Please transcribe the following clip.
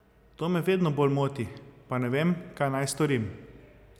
To me vedno bolj moti, pa ne vem, kaj naj storim.